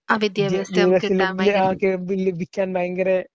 ലഭിക്കാൻ ഭയങ്കര